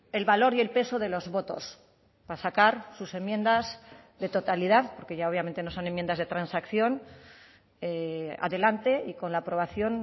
el valor y el peso de los votos para sacar sus enmiendas de totalidad porque ya obviamente no son enmiendas de transacción adelante y con la aprobación